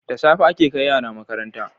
Da safe ake kai yara makaranta